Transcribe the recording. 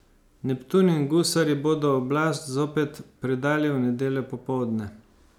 Neptun in gusarji bodo oblast zopet predali v nedeljo popoldne.